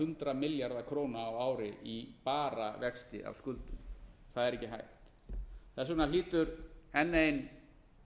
hundrað milljarða króna á ári í bara vexti af skuldum það er ekki hægt þess vegna hlýtur enn ein